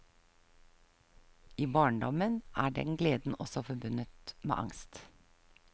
I barndommen er den gleden også forbundet med angst.